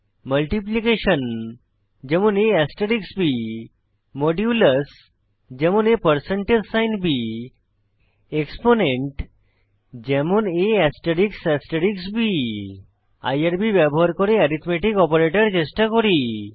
multiplication যেমন ab modulus যেমন ab exponent যেমন ab আইআরবি ব্যবহার করে এরিথম্যাটিক অপারেটর চেষ্টা করি